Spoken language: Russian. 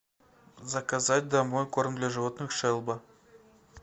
заказать домой корм для животных шеба